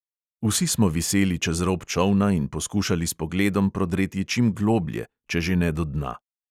Vsi smo viseli čez rob čolna in poskušali s pogledom prodreti čim globlje, če že ne do dna.